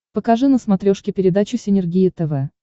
покажи на смотрешке передачу синергия тв